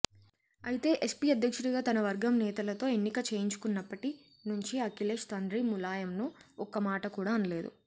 అయితే ఎస్పీ అధ్యక్షుడిగా తన వర్గం నేతలతో ఎన్నికచేయించుకున్నప్పటి నుంచి అఖిలేష్ తండ్రి ములాయంను ఒక్కమాట కూడా అనలేదు